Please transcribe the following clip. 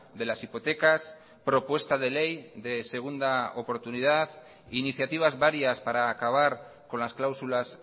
de las hipotecas propuesta de ley de segunda oportunidad iniciativas varias para acabar con las cláusulas